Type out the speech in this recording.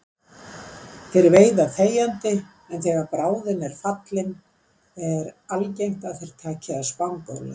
Þeir veiða þegjandi en þegar bráðin er fallin er algengt að þeir taki að spangóla.